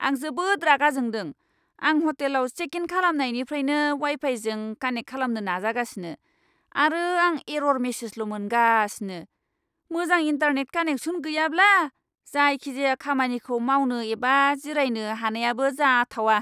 आं जोबोद रागा जोंदों! आं हटेलाव चेक इन खालामनायनिफ्रायनो वाइ फाइजों कानेक्ट खालामनो नाजागासिनो, आरो आं एरर मेसेजल' मोनगासिनो। मोजां इन्टारनेट कानेक्सन गैयाब्ला जायखिजाया खामानिखौ मावनो एबा जिरायनो हानायाबो जाथावा।